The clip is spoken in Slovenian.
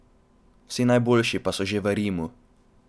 Vsi najboljši pa so že v Rimu.